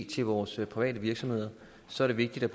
til vores private virksomheder så er det vigtigt at